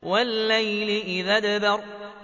وَاللَّيْلِ إِذْ أَدْبَرَ